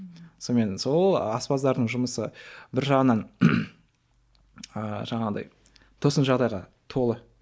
сонымен сол аспаздардың жұмысы бір жағынан ыыы жаңағыдай тосын жағдайға толы